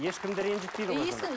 ешкімді ренжітпейді ғой